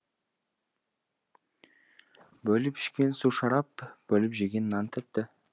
бөліп ішкен су шарап бөліп жеген нан тәтті